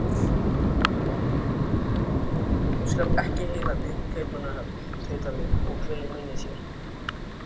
Af hverju stífnaði hann svona upp allt í einu?